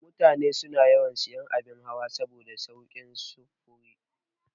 Mutane suna sayan abin hawa saboda saukin sufuri.